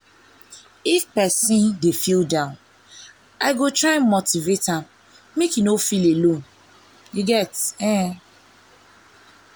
if person dey feel down i go try motivate am make e no feel alone. u get eh.